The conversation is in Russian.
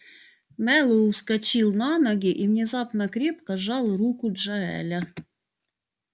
мэллоу вскочил на ноги и внезапно крепко сжал руку джаэля